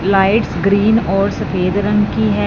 Light green और सफेद रंग की है।